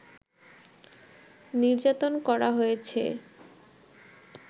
নির্যাতন করা হয়েছে